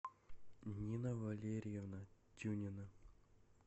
нина валерьевна тюнина